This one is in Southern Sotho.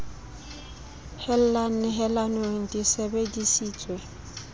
hella nehelanong di sebe disitswe